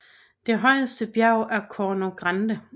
Det højeste bjerg er Corno Grande